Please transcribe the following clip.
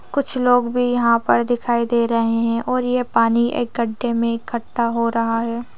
कुछ लोग भी यहाँ पर दिखाई दे रहे हैं और यह पानी एक गड्ढे में इकट्ठा हो रहा है।